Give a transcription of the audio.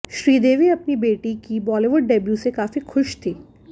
श्रीदेवी अपनी बेटी की बॉलीवुड डेब्यू से काफी खूश थी